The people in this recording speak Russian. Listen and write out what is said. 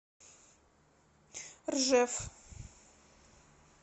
ржев